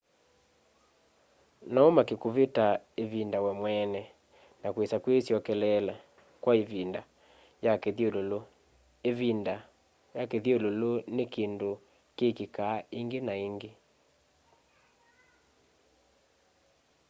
no umake kuvita kwa ivinda we mweene na kuisya kwisyokeleela kwa ivinda ya kithyululu ivinda ua kithyululu ni kindu kikikaa ingi na ingi